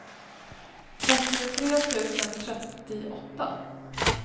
trettiotre tusen trettioåtta